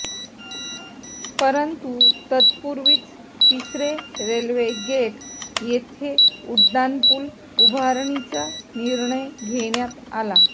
परंतु तत्पूर्वीच तिसरे रेल्वे गेट येथे उड्डाणपूल उभारणीचा निर्णय घेण्यात आला